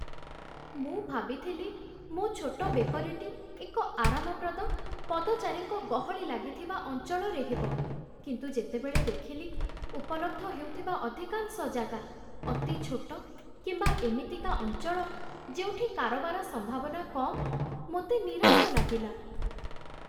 ମୁଁ ଭାବିଥିଲି ମୋ ଛୋଟ ବେକରୀଟି ଏକ ଆରାମପ୍ରଦ, ପଦଚାରୀଙ୍କ ଗହଳି ଲାଗିଥିବା ଅଞ୍ଚଳରେ ହେବ, କିନ୍ତୁ ଯେତେବେଳେ ଦେଖିଲି ଉପଲବ୍ଧ ହେଉଥିବା ଅଧିକାଂଶ ଜାଗା ଅତି ଛୋଟ କିମ୍ବା ଏମିତିକା ଅଞ୍ଚଳ ଯେଉଁଠି କାରବାର ସମ୍ଭାବନା କମ୍, ମୋତେ ନିରାଶ ଲାଗିଲା।